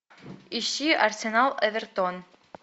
ищи арсенал эвертон